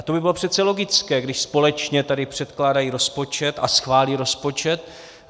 A to by bylo přece logické, když společně tady předkládají rozpočet a schválí rozpočet.